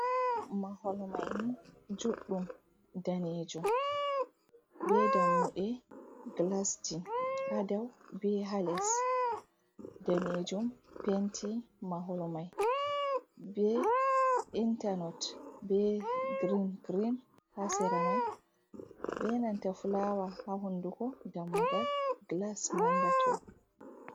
Maholmaini juɗɗum danejum, be dammuɗe gilasji hadaw be hales, danejum penti maholmai be intalot be girin girin ha sera mai be nantafulawa ha hunduko dammugal nda gilas mangato.